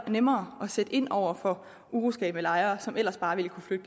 nemmere at sætte ind over for uroskabende lejere som ellers bare ville kunne flytte